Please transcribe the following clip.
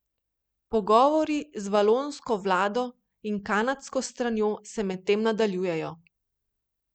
Pogovori z valonsko vlado in kanadsko stranjo se medtem nadaljujejo.